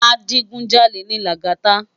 Ajigúnjálé ni Lagata